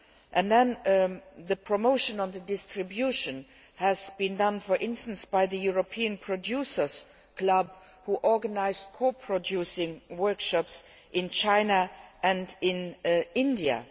And the promotion on the distribution has been done, for instance, by the European Producers Club, which organised co producing workshops in China and in India.